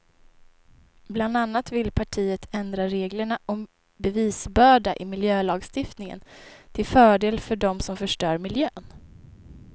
Bland annat vill partiet ändra reglerna om bevisbörda i miljölagstiftningen till fördel för dem som förstör miljön.